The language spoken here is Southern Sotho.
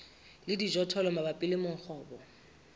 le dijothollo mabapi le mongobo